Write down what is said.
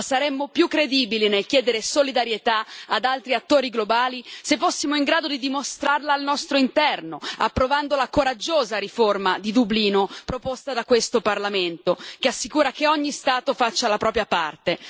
Ma saremmo più credibili nel chiedere solidarietà ad altri attori globali se fossimo in grado di dimostrarla al nostro interno, approvando la coraggiosa riforma di Dublino, proposta da questo Parlamento, che assicura che ogni Stato faccia la propria parte.